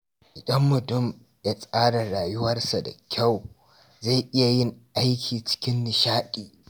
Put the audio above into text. Idan mutum ya tsara rayuwarsa da kyau, zai iya yin aiki cikin nishaɗi.